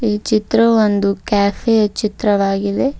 ಈ ಚಿತ್ರ ಒಂದು ಕೆಫೆ ಯ ಚಿತ್ರವಾಗಿದೆ.